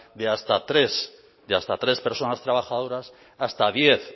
de hasta tres personas trabajadoras hasta diez